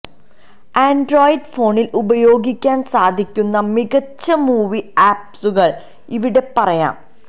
Android ഫോണില് ഉപയോഗിക്കാന് സാധിക്കുന്ന മികച്ച മൂവി ആപ്സുകള് ഇവിടെ പറയാം